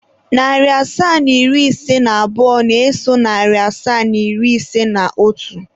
Narị asaa na iri ise na abụọ na-eso narị asaa na iri ise na otu.